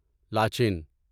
لاچین